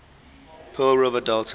pearl river delta